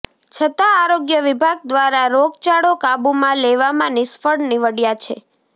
છતા આરોગ્ય વિભાગ દ્વારા રોગચાળો કાબુમાં લેવામાં નિષ્ફળ નિવડયા છે